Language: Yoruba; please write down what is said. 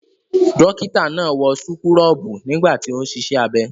Dọ́kítá náà wọ súkúrọ́bù nígbà tí ó ń ṣiṣẹ́ abẹ.